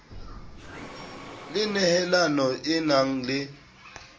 le nehelano e nang le